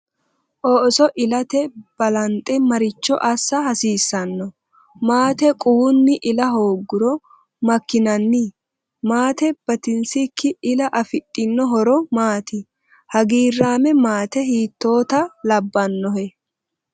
Ooso ilate balanxe maricho assa hasiissanno? Maate quwunni ila hoongiro makkinanni? Maate batinsikki ila afidhino horo maati? Hagiirraame maate hiittoota labbannohe?